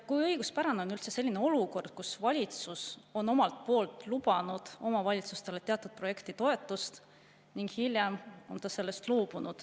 Kui õiguspärane on üldse selline olukord, kus valitsus on omalt poolt lubanud omavalitsustele teatud projektitoetust ning hiljem on sellest loobunud …